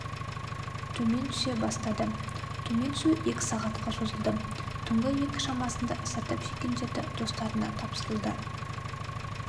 төмен түсе бастады төмен түсу екі сағатқа созылды түңгі екі шамасында зардап шеккендерді достарына тапсырылды